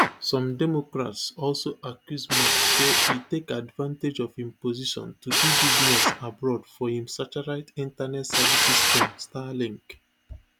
some democrats also accuse musk say e take advantage of im position to do business abroad for im satellite internet services firm starlink